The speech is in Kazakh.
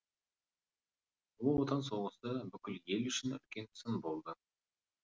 ұлы отан соғысы бүкіл ел үшін үлкен сын болды